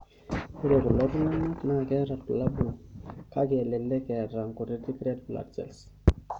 Ore kulo tunganak naa ketaa ibulabul kake elelek eta nkutiti red blood cells.